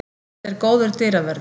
Þetta er góður dyravörður.